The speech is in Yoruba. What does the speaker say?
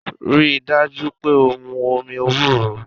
Rí i dájú pé o mu omi ewúro!